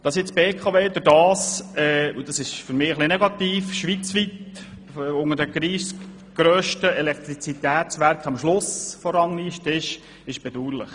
Dass sich jetzt die BKW am Schluss der Rangliste der 30 grössten Schweizer Elektrizitätswerke befindet, ist bedauerlich.